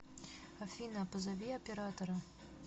афина а позови оператора